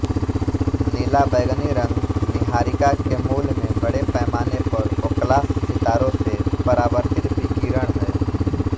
नीलाबैंगनी रंग नीहारिका के मूल में बड़े पैमाने पर ओक्लास सितारों से परावर्तित विकिरण है